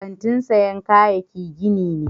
Kantin siyan kayaki gini ne.